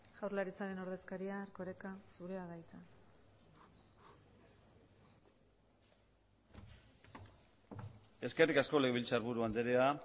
jaurlaritzaren ordezkaria erkoreka zurea da hitza eskerrik asko legebiltzarburu andrea